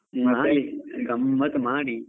ಮಾಡಿ ಗಮ್ಮತ್ ಮಾಡಿ.